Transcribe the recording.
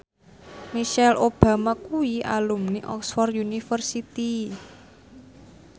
Michelle Obama kuwi alumni Oxford university